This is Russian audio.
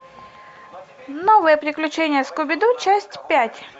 новые приключения скуби ду часть пять